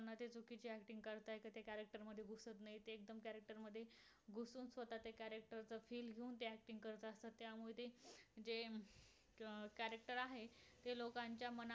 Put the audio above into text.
जे अं character आहे. ते लोकांच्या मना मना